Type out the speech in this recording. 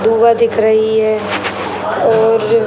धुआँ दिख रही है और --